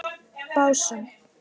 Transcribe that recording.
Básum